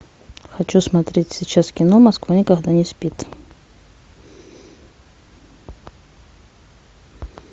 хочу смотреть сейчас кино москва никогда не спит